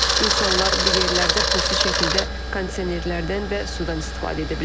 İnsanlar bu yerlərdə pulsuz şəkildə kondisionerlərdən və sudan istifadə edə bilərlər.